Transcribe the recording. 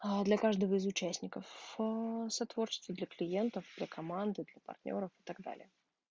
аа для каждого из участников в ээ сотворчество для клиентов для команды для партнёров и так далее